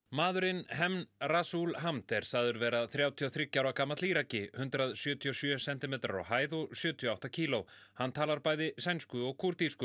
maðurinn Hemn Rasul Hamd er sagður vera þrjátíu og þriggja ára gamall hundrað sjötíu og sjö sentimetrar á hæð og sjötíu og átta kíló hann talar bæði sænsku og